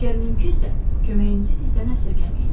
Əgər mümkünsə, köməyinizi bizdən əsirgəməyin.